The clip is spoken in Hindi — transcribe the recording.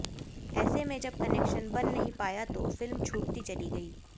ऐेसें में जब कनेक्शन बन ही नहीं पाया तो फिल्म छूूटती चली गई